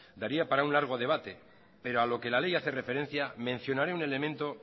daría para un largo debate pero a lo que la ley hace referencia mencionaré un elemento